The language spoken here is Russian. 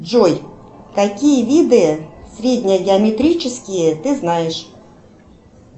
джой какие виды среднегеометрические ты знаешь